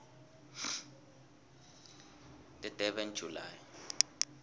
the durban july